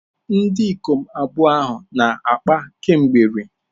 Ndị ikom abụọ ahụ na-akpa kemgbe rii.